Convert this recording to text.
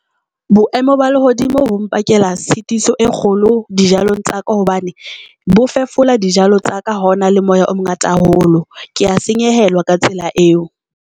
Boemo ba lehodimo bo mpakela tshitiso e kgolo dijalong tsa ka hobane bo fefola dijalo tsa ka. Ha hona le moya o mongata haholo, ke a senyehelwa ka tsela eo.